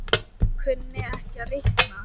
Kunni ekki að reikna.